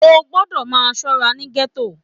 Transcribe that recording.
O gbọdọ máa ṣọra ní gẹto!